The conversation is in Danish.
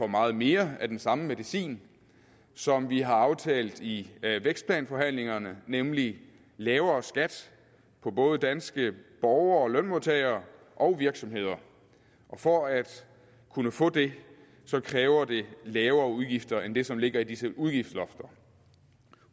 meget mere af den samme medicin som vi har aftalt i vækstplanforhandlingerne nemlig lavere skat for både danske borgere og lønmodtagere og virksomheder og for at kunne få det kræver det lavere udgifter end det som ligger i disse udgiftslofter